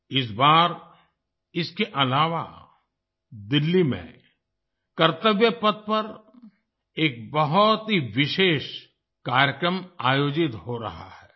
इस बार इसके अलावा दिल्ली में कर्तव्य पथ पर एक बहुत ही विशेष कार्यक्रम आयोजित हो रहा है